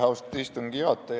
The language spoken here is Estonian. Austatud istungi juhataja!